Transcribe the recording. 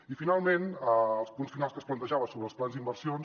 i finalment els punts finals que es plantejaven sobre els plans d’inversions